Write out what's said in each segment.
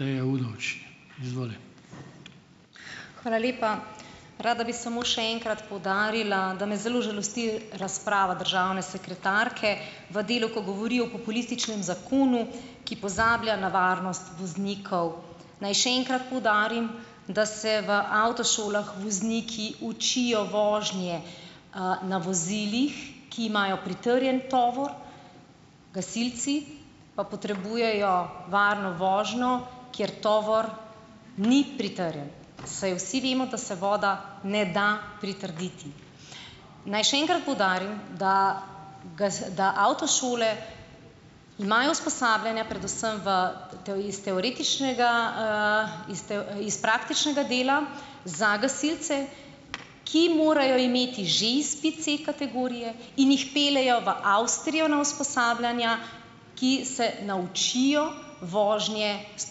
Hvala lepa. Rada bi samo še enkrat poudarila, da me zelo žalosti razprava državne sekretarke v delu, ki govori o populističnem zakonu, ki pozablja na varnost voznikov. Naj še enkrat poudarim, da se v avtošolah vozniki učijo vožnje, na vozilih, ki imajo pritrjen tovor, gasilci pa potrebujejo varno vožnjo, kjer tovor ni pritrjen, saj vsi vemo, da se voda ne da pritrditi. Naj še enkrat poudarim, da da avtošole imajo usposabljanja predvsem v iz teoretičnega, iz iz praktičnega dela za gasilce, ki morajo imeti že izpit C-kategorije in jih peljejo v Avstrijo na usposabljanja, ki se naučijo vožnje s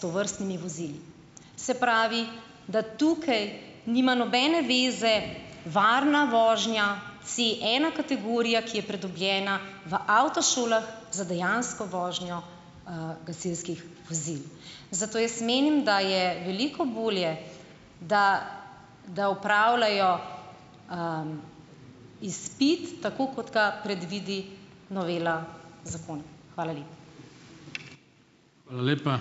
tovrstnimi vozili. Se pravi, da tukaj nima nobene zveze varna vožnja, Cena-kategorija, ki je pridobljena v avtošolah za dejansko vožnjo, gasilskih vozil. Zato jaz menim, da je veliko bolje, da da opravljajo, izpit, tako kot ga predvidi novela zakona. Hvala lepa.